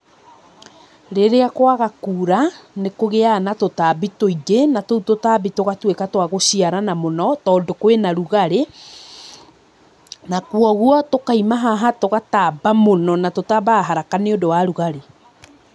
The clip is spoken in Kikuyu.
Rĩrĩa kwaga kura, nĩkũgĩaga na tũtambi tũingĩ, na tũu tũtambi tũgatwĩka twa gũciarana mũno, tondũ kwĩna rugarĩ, na kwoguo, tũkoima haha, tũgatamba mũno, na tũtambaga haraka nĩũndũ wa rugarĩ.